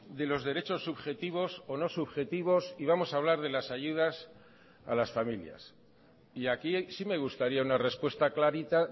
de los derechos subjetivos o no subjetivos y vamos a hablar de las ayudas a las familias y aquí sí me gustaría una respuesta clarita